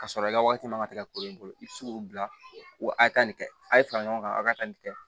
K'a sɔrɔ i ka waati man ka ti ka kolo bolo i tɛ se k'o bila ko a ye nin kɛ a ye fara ɲɔgɔn kan a ka nin kɛ